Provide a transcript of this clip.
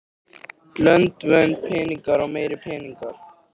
Lönd, völd, peningar og meiri peningar.